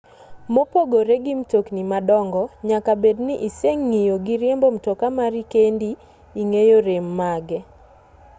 mopogore gi mtokni madongo nyaka bed ni iseng'iyo gi riembo mtoka mari kendo ing'eyo rem mage